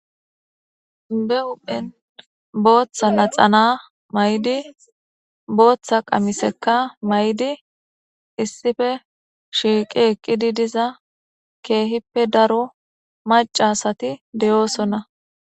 Be huphen bota naxala mayidi bota qamiseka mayidi issippe utidi eqidi diza kehippe daro mac'a asati dosona